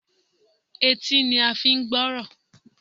Etí ni a n fi n gbórò